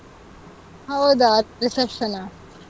ಹೌದಾ! reception ನಾ?